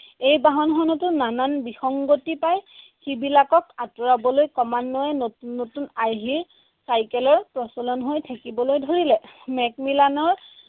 এই বাহনখনতো নানা বিসংগতি পাই সেইবিলাকক আঁতৰাবলৈ ক্ৰমান্বয়ে নতুন নতুন আৰ্হিৰ চাইকেলৰ প্ৰচলন হৈ থাকিবলৈ ধৰিলে। মেকমিলানৰ